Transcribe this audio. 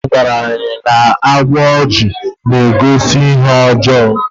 nne nne m gwara anyi na agba ojii na-egosi ihe ọjọọ